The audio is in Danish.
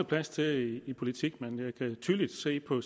plads til i politik men jeg kan tydeligt se på